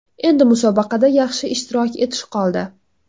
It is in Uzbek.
Endi musobaqada yaxshi ishtirok etish qoldi.